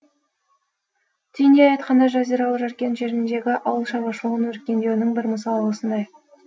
түйіндей айтқанда жазиралы жаркент жеріндегі ауыл шаруашылығының өркендеуінің бір мысалы осындай